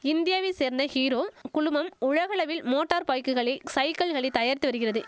இந்தியாவை சேர்ந்த ஹீரோ குழுமம் உலகளவில் மோட்டார் பைக்குகளை சைக்கிள்களை தயாரித்து வரிகிறது